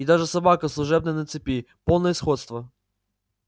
и даже собака служебная на цепи полное сходство